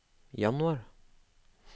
januar